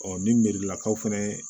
ni miirilakaw fɛnɛ